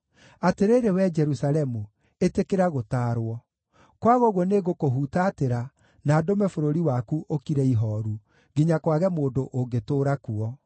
Atĩrĩrĩ, wee Jerusalemu, ĩtĩkĩra gũtaarwo, kwaga ũguo nĩngũkũhutatĩra na ndũme bũrũri waku ũkire ihooru, nginya kwage mũndũ ũngĩtũũra kuo.”